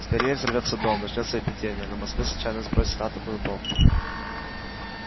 скорее взорвётся дом начнётся эпидемия на москву случайно сбросят атомную бомбу